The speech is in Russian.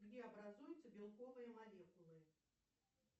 где образуются белковые молекулы